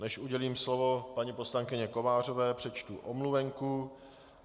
Než udělím slovo paní poslankyni Kovářové, přečtu omluvenku.